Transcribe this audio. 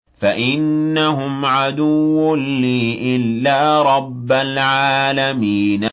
فَإِنَّهُمْ عَدُوٌّ لِّي إِلَّا رَبَّ الْعَالَمِينَ